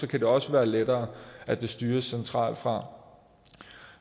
det også være lettere at det styres centralt fra